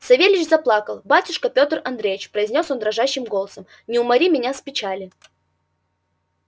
савельич заплакал батюшка пётр андреич произнёс он дрожащим голосом не умори меня с печали